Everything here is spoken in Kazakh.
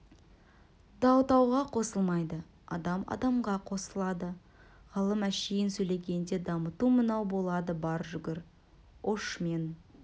тау тауға қосылмайды адам адамға қосылады ғалым әншейін сөйлегенде дамыту мынау болады бар жүгір ұш мен